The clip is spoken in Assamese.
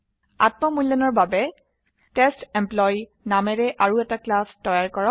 আত্ম মূল্যায়নৰ বাবে টেষ্টেম্পলয়ী নামেৰে আৰু এটা ক্লাস তৈয়াৰ কৰক